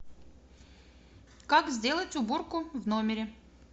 как сделать уборку в номере